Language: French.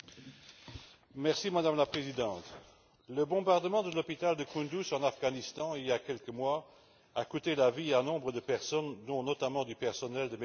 Madame la Présidente, le bombardement de l'hôpital de Kunduz en Afghanistan, il y a quelques mois, a coûté la vie à nombre de personnes, dont notamment du personnel de Médecins sans frontières.